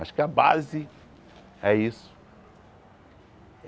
Acho que a base é isso.